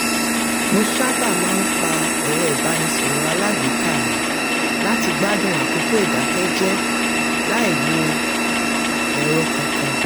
mo sábà máa ń pa ẹ̀rọ ìbánisọ̀rọ̀ alágbèéká mi láti gbádùn àkókò ìdákẹ́ jẹ́ láì wo ẹ̀rọ kankan